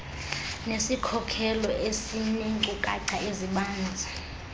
nesikhokelo esineenkcukacha ezibanzi